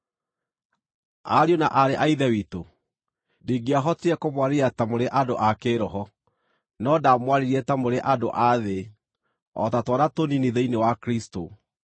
Ariũ na aarĩ a Ithe witũ, ndingĩahotire kũmwarĩria ta mũrĩ andũ a kĩĩroho, no ndaamwarĩirie ta mũrĩ andũ a thĩ, o ta twana tũnini thĩinĩ wa Kristũ.